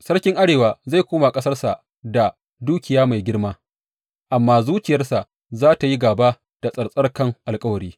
Sarkin Arewa zai koma ƙasarsa da dukiya mai girma, amma zuciyarsa za tă yi gāba da tsattsarkan alkawari.